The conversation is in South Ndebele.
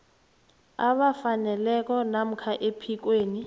abafaneleko namkha ephikweni